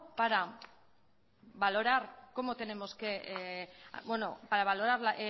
para valorar